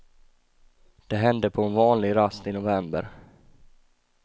Det hände på en vanlig rast i november.